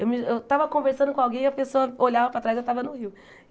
Eu me eu estava conversando com alguém e a pessoa olhava para trás eu estava no rio.